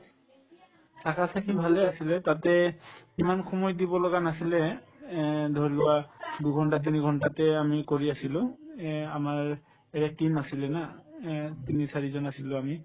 থাকাথাকি ভালে আছিলে তাতে ইমান সময় দিব লগা নাছিলে এহ্ ধৰি লোৱা দুঘণ্টা তিনিঘণ্টাতে আমি কৰি আছিলো এহ্ আমাৰ বেলেগ team নাছিলে না এহ্ তিনি চাৰিজন আছিলো আমি